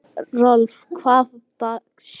Rolf, hvaða dagur er í dag?